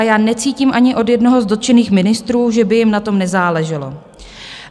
A já necítím ani od jednoho z dotčených ministrů, že by jim na tom nezáleželo.